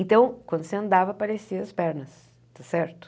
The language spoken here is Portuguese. Então, quando você andava, parecia as pernas, tá certo?